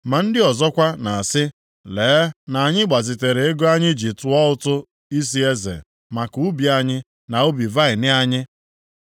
Ma ndị ọzọkwa na-asị, “Lee na anyị gbazitere ego anyị ji tụọ ụtụ isi eze maka ubi anyị na ubi vaịnị anyị.